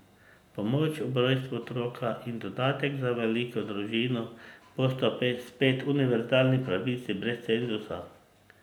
Pomoč ob rojstvu otroka in dodatek za veliko družino bosta spet univerzalni pravici brez cenzusa.